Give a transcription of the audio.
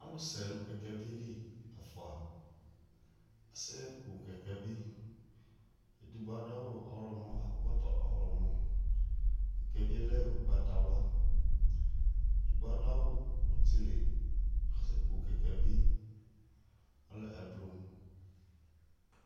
Ɔlʋsɛ nʋ kɛkɛvɩ li ɛfʋa asɛku kɛkɛvɩ Edigbo adu awu ɔɣlɔmɔ, kʋ akɔ ɛkɔtɔ ɔɣlɔmɔ Kɛkɛvɩ yɛ lɛ ugbatawla Edigbo adu awu ɔtɩlɩ, kʋ asɛku kɛkɛvɩ ɛblʋ